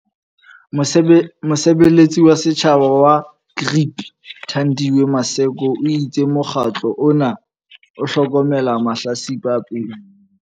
Mosebeletsi wa setjhaba wa GRIP, Thandiwe Maseko, o itse mokgatlo ona o hlokomela mahlatsipa a peto.